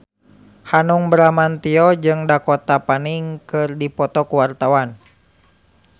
Hanung Bramantyo jeung Dakota Fanning keur dipoto ku wartawan